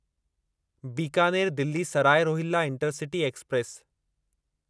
Bikaner Delhi Sarai Rohilla intercity express